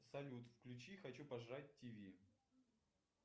салют включи хочу пожрать тв